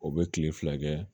O bɛ kile fila kɛ